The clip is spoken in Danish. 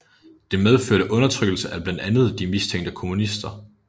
Det medførte undertrykkelse af blandt andet de mistænkte kommunister